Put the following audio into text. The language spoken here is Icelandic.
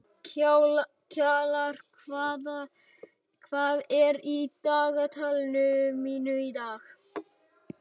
Kjalar, hvað er á dagatalinu mínu í dag?